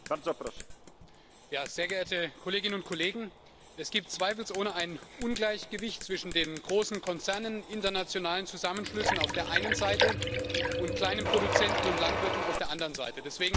Herr Präsident, sehr geehrte Kolleginnen und Kollegen! Es gibt zweifelsohne ein Ungleichgewicht zwischen den großen Konzernen, internationalen Zusammenschlüssen auf der einen Seite und kleinen Produzenten und Landwirten auf der anderen Seite.